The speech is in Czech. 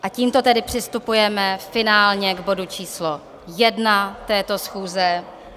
A tímto tedy přistupujeme finálně k bodu číslo 1 této schůze.